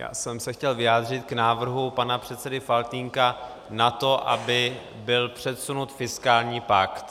Já jsem se chtěl vyjádřit k návrhu pana předsedy Faltýnka na to, aby byl předsunut fiskální pakt.